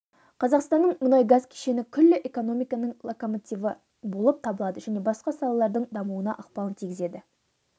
қазақстанның мұнай-газ кешені күллі экономиканың локомотиві болып табылады және басқа салалардың дамуына ықпалын тигізеді